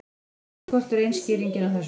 Greiðslukort eru ein skýringin á þessu.